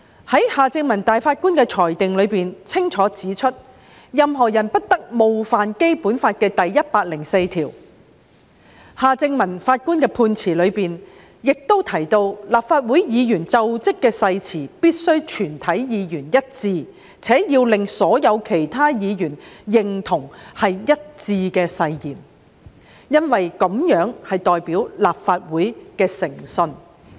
法官夏正民在裁定中清楚指出，任何人不得冒犯《基本法》第一百零四條，法官夏正民在判詞中亦提及，立法會議員就職誓詞必須是全體議員一致，且要令所有其他議員認同是一致的誓言，因為這代表立法會的誠信。